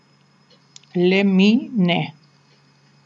Le mi ne.